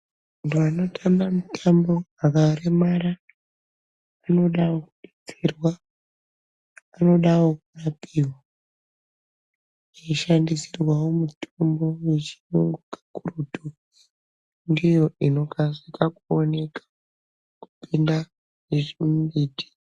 Vantu vanotamba mitambo vakaremara vanodawo kutsigirwa, vanodawo kurapiwa. Veishandisirwawo mitombo yechiyungu kakurutu. Ndiyo inokasika kuoneka kupinda yezvimumbiti